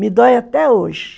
Me dói até hoje.